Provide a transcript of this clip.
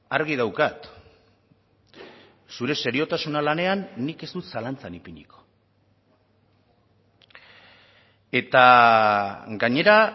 argi daukat zure seriotasuna lanean nik ez dut zalantzan ipiniko eta gainera